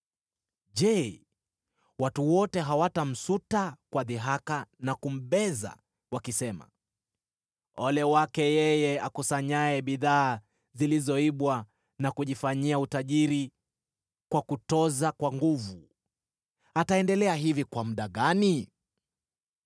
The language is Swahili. “Je, watu wote hawatamsuta kwa dhihaka na kumbeza, wakisema, “ ‘Ole wake yeye akusanyaye bidhaa zilizoibwa na kujifanyia utajiri kwa kutoza kwa nguvu! Ataendelea hivi kwa muda gani?’